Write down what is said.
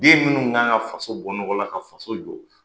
Den minnu kan ka faso bɔ nɔgɔ la ka faso jɔ